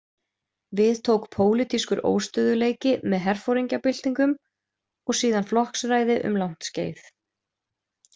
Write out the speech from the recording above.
Við tók pólitískur óstöðugleiki með herforingjabyltingum og síðan flokksræði um langt skeið.